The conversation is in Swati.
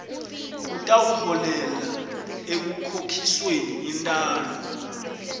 kutawuholela ekukhokhisweni intalo